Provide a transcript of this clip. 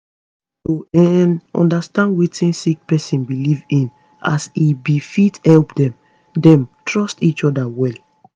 to um understand wetin sick pesin belief in as e be fit help dem dem trust each oda well